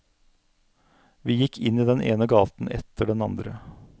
Vi gikk inn i den ene gaten etter den andre.